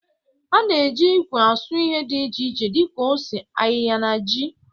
A na-eji ikwe asụ ihe dị iche iche dị ka ose, ayịya na ji.